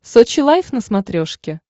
сочи лайв на смотрешке